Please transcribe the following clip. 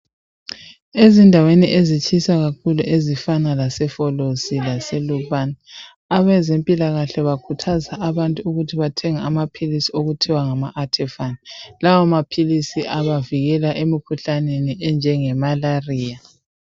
Ezindaweni ezitshisa kakhulu ezifana laseFolosi lase Lupane abazempilakahle bakhuthaza abantu ukuthi bathenge amaphilisi okuthiwa nga Artefan lawa maphilisi abavikela emikhuhlaneni enjenge malaria.